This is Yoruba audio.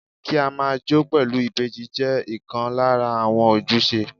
Kí á máa jó pẹ̀lú ìbejì jẹ́ ìkan lára àwọn ojúṣe.